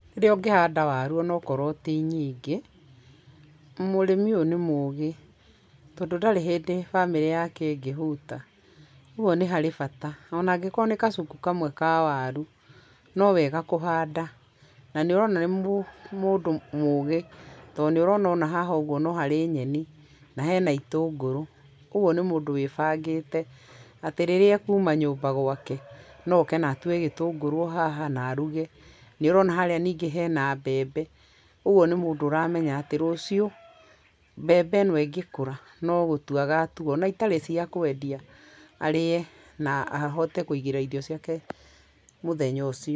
Rĩrĩa ũngĩhanda waru ona akorwo ti nyingĩ, mũrĩmi ũyũ nĩ mũũgĩ, tondũ ndarĩ hĩndĩ bamĩrĩ yake ĩngĩhũta ,ũgũo nĩ harĩ bata ona angĩkorwo nĩ kacuku kamwe ka waru, nowega kũhanda, na nĩũrona nĩ mũndũ mũũgĩ tondũ nĩ ũrona no harĩ nyeni, na hena itũngũrũ ,ũgwo nĩ mũndũ wĩbangĩte atĩ rĩrĩa akuma nyũmba gwake, no oke na atue gĩtũngũrũ haha na aruge, nĩ ũrona harĩa ningĩ hena mbembe, kwoguo nĩ mũndũ ũramenya atĩ rũciũ, mbembe ĩno ĩngĩkũra nogũtua agatua ona ĩtarĩ cia kwendia arĩe na ahote kũigĩra irio ciake mũthenya ũcio.